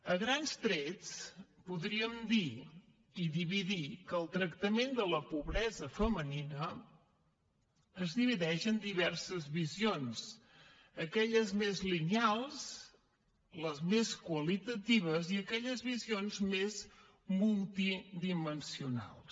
a grans trets podríem dir que el tractament de la pobresa femenina es divideix en diverses visions aquelles més lineals les més qualitatives i aquelles visions més multidimensionals